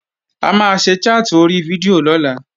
A máa ṣe chat ori fídíò lọ́la